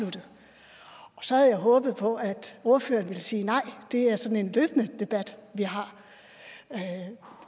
og så havde jeg håbet på at ordføreren ville sige nej det er sådan en løbende debat vi har